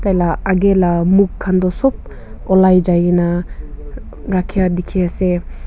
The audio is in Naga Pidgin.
la aage la mukh khan do sob ulai jai gina rakhia dikhi ase.